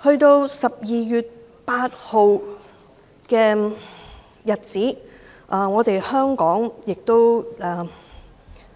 到了12月8日，香港亦